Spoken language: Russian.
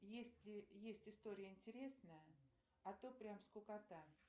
есть ли есть история интересная а то прям скукота